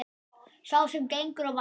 Sá sem gengur á vatni